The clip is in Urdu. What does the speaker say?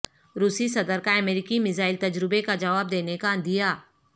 روسی صدر کا امریکی میزائل تجربے کا جواب دینے کا عندیہ